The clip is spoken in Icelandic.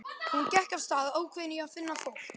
Hún gekk af stað ákveðin í að finna fólk.